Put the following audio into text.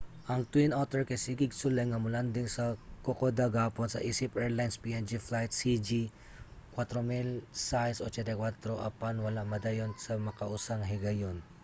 ang twin otter kay sige og sulay nga mo-landing sa kokoda gahapon isip airlines png flight cg 4684 apan wala madayon sa makausa nga higayon